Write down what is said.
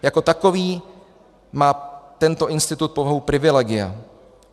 Jako takový má tento institut povahu privilegia.